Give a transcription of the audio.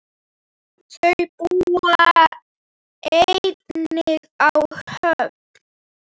Þau búa einnig á Höfn.